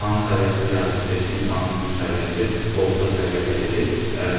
İmtahan səviyyəsinə gəldikdə isə imtahanın ümumi səviyyəsi orta səviyyədə idi.